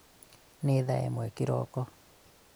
nĩ thaa ĩmwe kĩroko